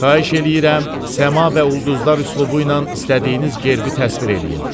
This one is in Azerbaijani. Xahiş eləyirəm, səma və ulduzlar üslubu ilə istədiyiniz gerbi təsvir eləyin.